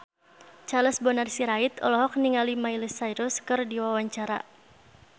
Charles Bonar Sirait olohok ningali Miley Cyrus keur diwawancara